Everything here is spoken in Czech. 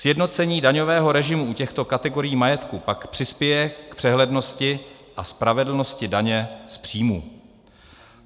Sjednocení daňového režimu u těchto kategorií majetku pak přispěje k přehlednosti a spravedlnosti daně z příjmů.